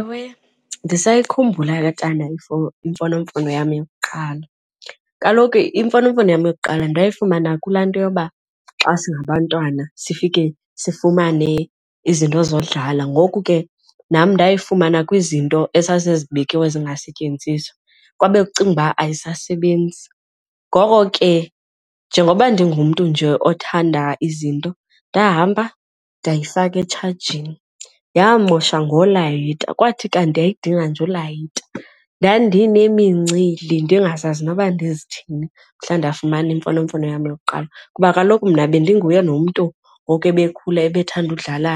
Ewe, ndisayikhumbula ke tana imfonomfono yam yokuqala. Kaloku imfonomfono yam yokuqala ndayifumana kulaa nto yoba xa singabantwana sifike sifumane izinto zodlala ngoku ke nam ndayifumana kwizinto ezase zibekiwe zingasetyenziswa kwabe kucingwa uba ayisasebenzi. Ngoko ke njengoba ndingumntu nje othanda izinto ndahamba ndiyifaka etshajeni, yamosha ngolayita kwathi kanti yayidinga nje ulayita. Ndandinemincili ndingazazi noba ndizithini mhla ndafumana imfonomfono yam yokuqala kuba kaloku mna bendinguye nomntu ngoku ebekhula ebethanda ukudlala